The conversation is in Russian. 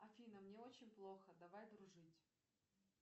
афина мне очень плохо давай дружить